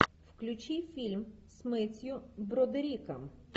включи фильм с мэттью бродериком